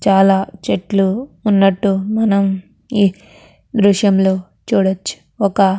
చాలా చెట్లు ఉన్నట్టు మనం ఈ దృశ్యంలో చూడచ్చు. ఒక --